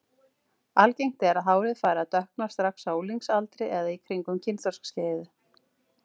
Algengt er að hárið fari að dökkna strax á unglingsaldri eða í kringum kynþroskaskeiðið.